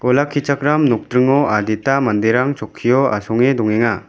olakichakram nokdringo adita manderang chokkio asonge dongenga.